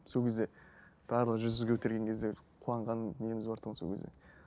сол кезде барлығы жүзді көтерген кезде бір қуанған неміз бар тұғын сол кезде